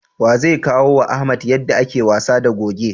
Wa zai koyawa Ahmed yadda ake wasa da goge?